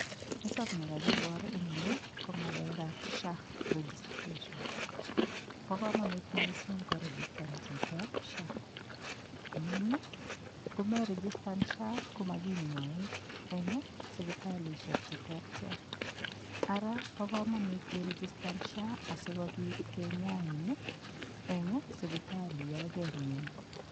Nitokni kakibor eng' yu ko ng'alekab SHA registration bo komonut mising' koregistan chito SHA amun ngomeregistan SHA komakinyoin eng' sipitalishek cheterter ara bo komonut iregitan SHA asikobit kenyain eng' sipitali yo kemyan